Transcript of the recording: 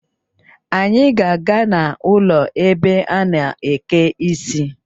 Anyị ga-aga n' ụlọ ebe a na-eke isi